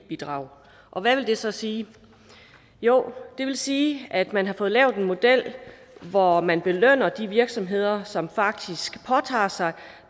bidrag og hvad vil det så sige jo det vil sige at man har fået lavet en model hvor man belønner de virksomheder som faktisk påtager sig